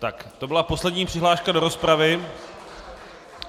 Tak, to byla poslední přihláška do rozpravy.